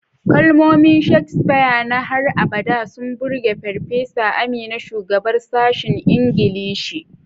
Kalmomin Shakespeare na har abada sun burge Farfesa Amina, shugabar sashen Ingilishi.